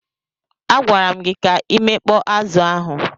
A gwara m gi ka imekpọ azu ahụ.